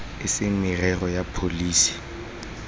e se merero ya pholesi